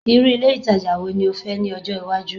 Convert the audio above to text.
irú ilé ìtajà wo ni o fẹ́ ní ni ọjọ iwaju